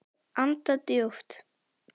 Anda djúpt.